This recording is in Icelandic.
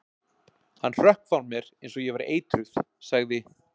Hann hrökk frá mér eins og ég væri eitruð- sagði